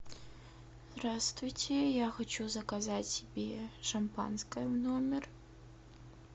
здравствуйте я хочу заказать себе шампанское в номер